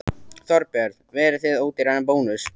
Þorbjörn: Verðið þið ódýrari en Bónus?